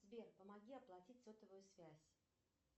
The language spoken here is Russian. сбер помоги оплатить сотовую связь